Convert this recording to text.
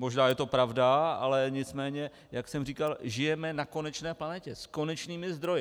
Možná je to pravda, ale nicméně jak jsem říkal, žijeme na konečné planetě s konečnými zdroji.